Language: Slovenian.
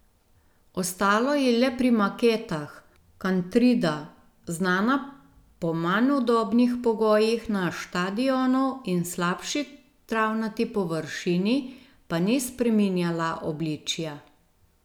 Ostalo je le pri maketah, Kantrida, znana po manj udobnih pogojih na štadionu in slabši travnati površini, pa ni spreminjala obličja.